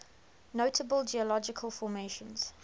notable geological formations